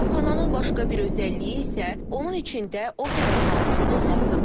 Kitabxananın başqa bir özəlliyi isə onun içində opera zalının olmasıdır.